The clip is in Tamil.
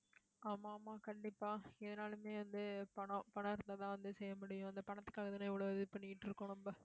ஆமா, ஆமா கண்டிப்பா ஏதுனாலுமே வந்து, பணம் பணம் இருந்த தான் வந்து, செய்ய முடியும். அந்த பணத்துக்காகதானே, இவ்வளவு இது பண்ணிட்டிருக்கோம் நம்ம